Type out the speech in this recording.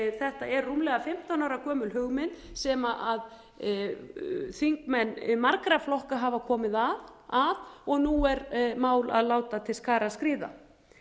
þetta er rúmlega fimmtán ára gömul hugmynd sem þingmenn margra flokka hafa komið að og nú er mál að láta til skarar skríða